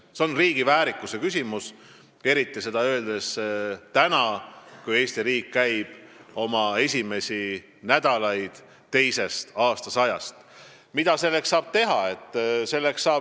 See on riigi väärikuse küsimus, eriti saab seda öelda praegu, kui Eesti riik käib oma esimesi nädalaid teisest aastasajast.